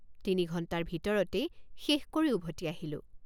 তিনি ঘণ্টাৰ ভিতৰতেই শেষ কৰি উভতি আহিলোঁ।